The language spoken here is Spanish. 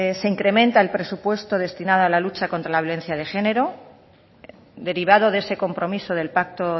se incrementa el presupuesto destinado a la lucha contra la violencia de género derivado de ese compromiso del pacto